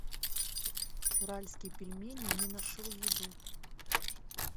уральские пельмени не нашел еду